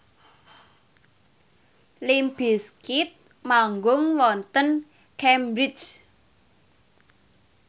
limp bizkit manggung wonten Cambridge